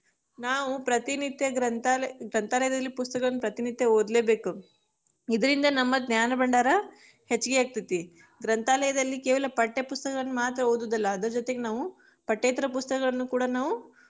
ನಾವು ಪ್ರತಿನಿತ್ಯ ಗ್ರಂಥಾಲ~ ಗ್ರಂಥಾಲಯದಲ್ಲಿ ಪುಸ್ತಕಗಳನ್ನ ಪ್ರತಿ ನಿತ್ಯ ಓದ್ಲೇಬೇಕು, ಇದರಿಂದ ನಮ್ಮ ಜ್ಞಾನ ಭಂಡಾರ ಹೆಚ್ಚಗಿ ಆಗತೇತಿ, ಗ್ರಂಥಾಲಯದಲ್ಲಿ ಕೇವಲ ಪಠ್ಯ ಪುಸ್ತಕಗಳನ್ನ ಮಾತ್ರ ಓದುದಲ್ಲಾ ಅದ್ರ ಜೊತಿಗ ನಾವು, ಪಠ್ಯೇತರ ಪುಸ್ತಕಗಳನ್ನ ಕೂಡ ನಾವು.